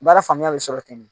Baara faamuyali sɔrɔ ten